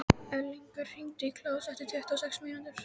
Elíngunnur, hringdu í Kláus eftir tuttugu og sex mínútur.